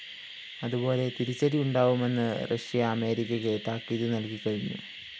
അതുപോലെ തിരിച്ചടി ഉണ്ടാവുമെന്ന് റഷ്യ അമേരിക്കയ്ക്കു താക്കീതു നല്‍കിക്കഴിഞ്ഞു